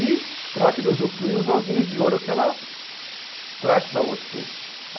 E trate de usufruir os ovinhos de ouro que ela traz para você.